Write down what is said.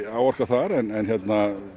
áorkað þar